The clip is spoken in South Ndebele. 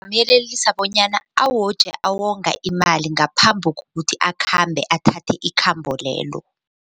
Ngingamyelelisa bonyana awoje awonga imali ngaphambi kokuthi akhambe athathe ikhambo lelo.